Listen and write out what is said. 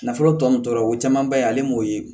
Nafolo tɔ nunnu tora o camanba ye ale m'o ye